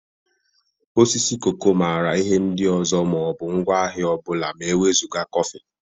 Osisi koko maara ihe ndị ọzọ ma ọ bụ ngwaahịa ọ bụla ma e wezụga kọfị